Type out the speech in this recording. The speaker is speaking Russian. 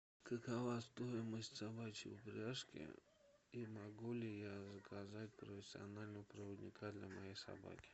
какова стоимость собачьей упряжки и могу ли я заказать профессионального проводника для моей собаки